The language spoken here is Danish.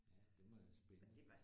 Ja det må være spændende